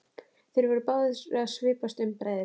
Þeir voru báðir að svipast um bræðurnir.